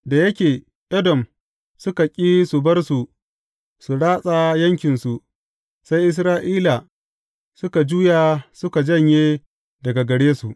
Da yake Edom suka ƙi su bar su su ratsa yankinsu, sai Isra’ila suka juya suka janye daga gare su.